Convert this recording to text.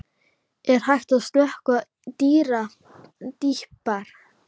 Er hægt að sökkva dýpra?